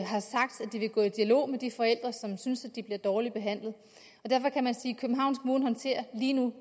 de vil gå i dialog med de forældre som synes at de bliver dårligt behandlet og derfor kan man sige at københavns kommune lige nu